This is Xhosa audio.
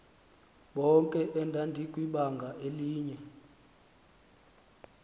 bonke endandikwibanga elinye